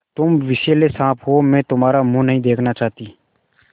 तुम विषैले साँप हो मैं तुम्हारा मुँह नहीं देखना चाहती